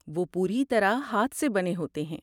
وہ پوری طرح ہاتھ سے بنے ہوتے ہیں۔